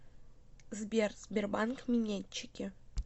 сбер сбербанк минетчики